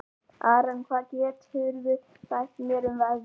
Aran, hvað geturðu sagt mér um veðrið?